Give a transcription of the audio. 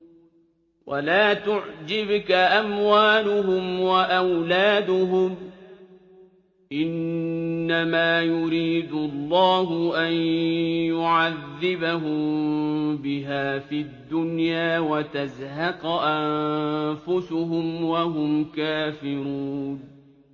وَلَا تُعْجِبْكَ أَمْوَالُهُمْ وَأَوْلَادُهُمْ ۚ إِنَّمَا يُرِيدُ اللَّهُ أَن يُعَذِّبَهُم بِهَا فِي الدُّنْيَا وَتَزْهَقَ أَنفُسُهُمْ وَهُمْ كَافِرُونَ